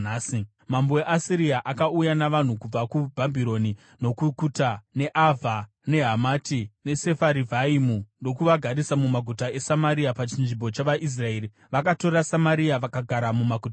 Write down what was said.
Mambo weAsiria akauya navanhu kubva kuBhabhironi, nokuKuta, neAvha, neHamati neSefarivhaimu ndokuvagarisa mumaguta eSamaria pachinzvimbo chavaIsraeri. Vakatora Samaria vakagara mumaguta ayo.